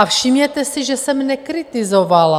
A všimněte si, že jsem nekritizovala...